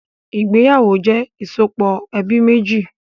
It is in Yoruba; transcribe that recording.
Ìgbéyàwó jẹ ìsopọ̀ ẹbí méjì